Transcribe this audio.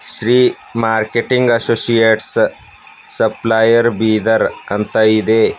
Shri marketing associates supplier Bidar ಅಂತ ಇದೆ.